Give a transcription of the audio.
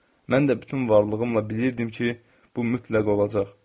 Mən də bütün varlığımla bilirdim ki, bu mütləq olacaq.